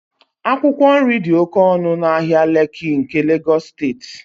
akwụkwọ nri dị oke ọnụ n'ahịa lekki nke Lagos steeti